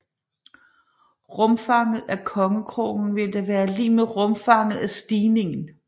Rumfanget af kongekronen ville da være lig med rumfanget af stigningen